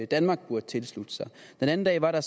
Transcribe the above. danmark burde tilslutte sig det den anden dag var der